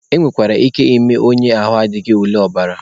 E nwekwara ike ime onye ahụ adịghị ule ọbara.